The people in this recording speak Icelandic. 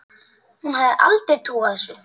Hún hefði aldrei trúað þessu.